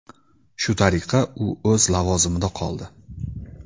Shu tariqa, u o‘z lavozimida qoldi.